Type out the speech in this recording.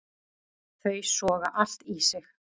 Þau soga allt í sig.